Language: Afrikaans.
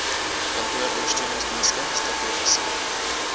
kantooronder steuningsdienste strategiese